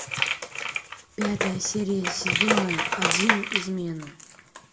пятая серия сезона один измены